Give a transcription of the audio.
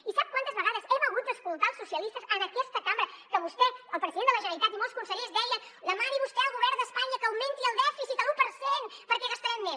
i sap quantes vegades hem hagut d’escoltar els socialistes en aquesta cambra que vostè el president de la generalitat i molts consellers deien demani vostè al govern d’espanya que augmenti el dèficit a l’u per cent perquè gastarem més